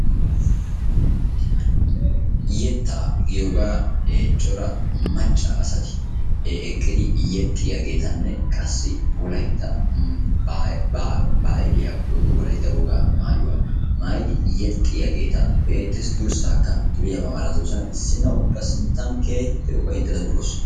Yettaa giyooga cora macca asati eqqidi yexxiyageetanne qassi wolayitta baahiliya woyikko wolayitta wogaa maayuwa maayidi yexxiyageeta be'eettes. Durssaakka duriyaba milatoosona issinna ubba keehippe ufayittada durawus.